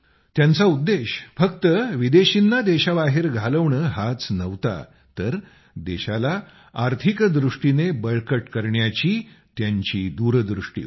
त्यांचा उद्देश फक्त विदेशींना देशाबाहेर घालवणे हाच नव्हता तर देशाला आर्थिकदृष्टीने बळकट करण्याची त्यांची दूरदृष्टी होती